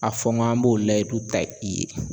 A fɔ n g'an b'o layidu ta i ye